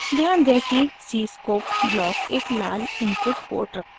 ध्यान दें कि cscope ब्लॉक एक लाल इनपुट पोर्ट रखता है